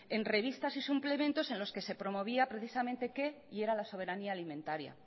en revistas y suplementos en los que se promovía precisamente qué era la soberanía alimentaria